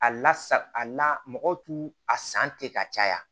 A la sa a la mɔgɔw t'u a san ten ka caya